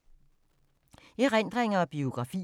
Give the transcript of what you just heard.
Erindringer og biografier